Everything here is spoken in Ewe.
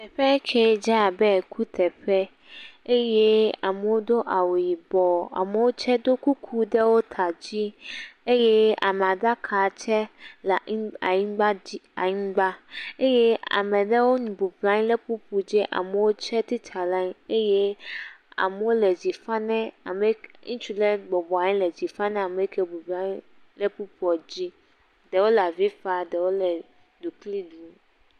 Teƒe kee dze abe kuteƒe eye amewo do awu yibɔ. Amewo tse do kuku ɖewo ka dzi eye amea ɖaka tse le anyi anyigba dzi anyigba eye ame aɖewo bɔbɔnɔ anyi ɖe kpukpoe dzi. Ame aɖewo tsitre ɖe anyi eye amewo le dzi fam ne ame ŋutsu aɖe bɔbɔnɔ anyi le dzi fam na ame kee bɔbɔnɔ anyi ɖe kpukpoa dzi. Ɖewo le avi fam, ɖewo le ɖukli ɖum.